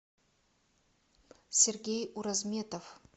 сергей уразметов